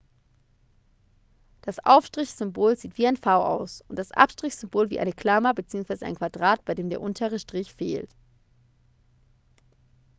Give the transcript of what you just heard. das aufstrich -symbol sieht wie ein v aus und das abstrich -symbol wie eine klammer bzw. ein quadrat bei dem der untere strich fehlt